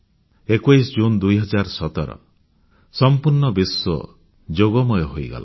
21 June 2017 ସଂପୂର୍ଣ୍ଣ ବିଶ୍ୱ ଯୋଗମୟ ହୋଇଗଲା